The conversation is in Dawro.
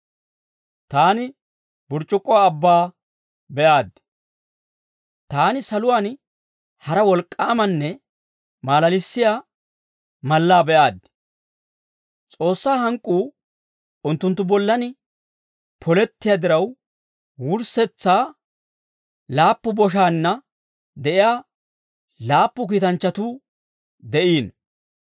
Taani saluwaan hara wolk'k'aamanne maalalissiyaa mallaa be'aaddi. S'oossaa hank'k'uu unttunttu bollan polettiyaa diraw, wurssetsa laappu boshaanna de'iyaa laappu kiitanchchatuu de'iino.